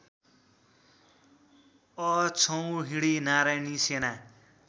अक्षौहिणी नारायणी सेना